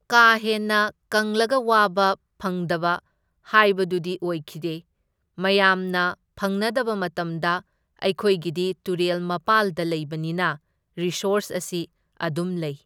ꯀꯥꯍꯦꯟꯅ ꯀꯪꯂꯒ ꯋꯥꯕ ꯐꯪꯗꯕ ꯍꯥꯏꯕꯗꯨꯗꯤ ꯑꯣꯏꯈꯤꯗꯦ, ꯃꯌꯥꯝꯅ ꯐꯪꯅꯗꯕ ꯃꯇꯝꯗ ꯑꯩꯈꯣꯢꯒꯤꯗꯤ ꯇꯨꯔꯦꯜ ꯃꯄꯥꯜꯗ ꯂꯩꯕꯅꯤꯅ ꯔꯤꯁꯣꯔꯁ ꯑꯁꯤ ꯑꯗꯨꯝ ꯂꯩ ꯫